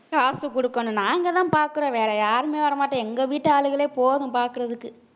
காசு கொடுக்கணும் நாங்கதான் பார்க்கிறோம் வேற யாருமே வர மாட்டோம் எங்க வீட்டு ஆளுங்களே போதும் பாக்குறதுக்கு